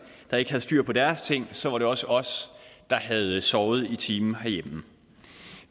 der ikke havde styr på deres ting så var det også os der havde sovet i timen